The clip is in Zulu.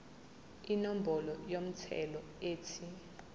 inombolo yomthelo ethi